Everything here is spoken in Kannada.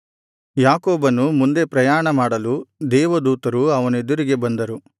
ಯಾಕೋಬನು ಮುಂದೆ ಪ್ರಯಾಣಮಾಡಲು ದೇವದೂತರು ಅವನೆದುರಿಗೆ ಬಂದರು